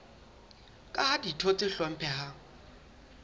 ka ha ditho tse hlomphehang